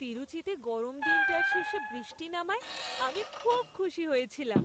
তিরুচিতে গরম দিনটার শেষে বৃষ্টি নামায় আমি খুব খুশি হয়েছিলাম।